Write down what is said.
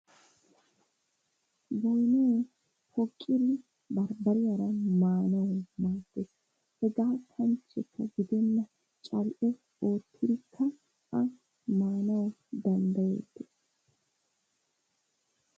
Boynay poqqidi bambbariyara maanawu maaddees. Hegaa kanchchekka gidenna cal"e oottidikka A maanawu danddayettees.